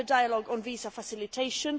We have a dialogue on visa facilitation.